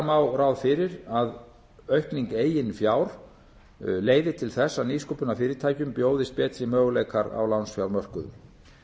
má ráð fyrir að aukning eigin fjár leiði til þess að nýsköpunarfyrirtækjum bjóðist betri möguleikar á lánsfjármörkuðum